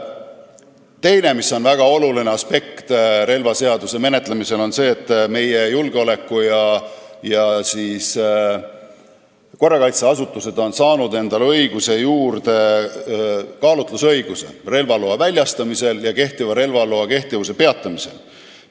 Teine väga oluline aspekt relvaseaduse menetlemisel on see, et meie julgeoleku- ja korrakaitseasutused on saanud endale kaalutlusõiguse relvaloa väljastamisel ja relvaloa kehtivuse peatamisel.